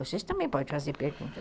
Vocês também podem fazer perguntas.